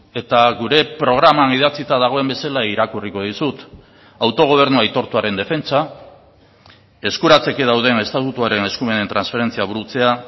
eta gure programan idatzita dagoen bezala irakurriko dizut autogobernua aitortuaren defentsa eskuratzeke dauden estatutuaren eskumenen transferentzia burutzea